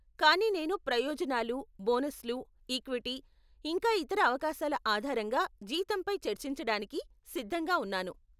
కానీ నేను ప్రయోజనాలు, బోనస్లు, ఈక్విటీ, ఇంకా ఇతర అవకాశాల ఆధారంగా జీతంపై చర్చించడానికి సిద్ధంగా ఉన్నాను.